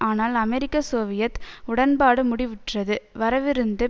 ஆனால் அமெரிக்க சோவியத் உடன்பாடு முடிவுற்றது வரவிருந்த